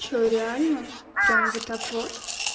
что реально прям вот так вот